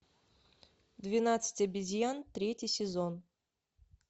двенадцать обезьян третий сезон